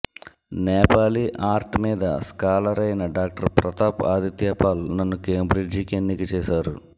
Nepali art మీద scholar అయిన doctor Pratap Adityapal నన్ను కేంబ్రిడ్జికి ఎన్నిక చేసారు